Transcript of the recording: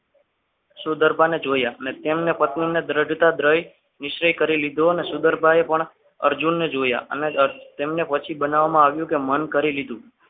શું ગરબા ને જોયા અને તેમના પત્રોને જડતા જ રહી નિશ્ચય કરી લીધો અને સુગર ભાઈ પણ અર્જુનને જોયા અને તેમને પછી બનાવવામાં આવ્યું કે મન કરી લીધું.